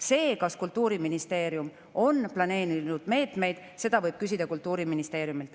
Seda, kas Kultuuriministeerium on planeerinud meetmeid, võib küsida Kultuuriministeeriumilt.